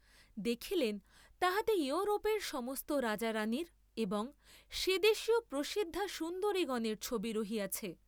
দেখিলেন তাহাতে য়ুরোপের সমস্ত রাজা রাণীর এবং সে দেশীয় প্রসিদ্ধা সুন্দরীগণের ছবি রহিয়াছে।